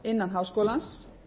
innan háskólans